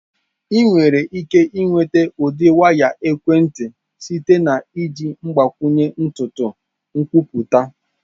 Ị nwere ike nweta ụdị waya ekwentị site na iji mgbakwunye ntutu nkwupụta.